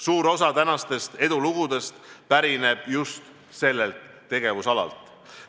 Suur osa edulugudest pärineb just sellelt tegevusalalt.